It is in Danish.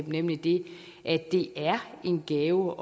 nemlig det at det er en gave